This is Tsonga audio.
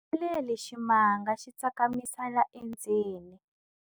Pfumeleli ximanga xi tsakamisela endzeni.